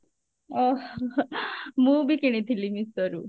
ଓଃ ମୁଁ ବି କିଣିଥିଲି meesho ରୁ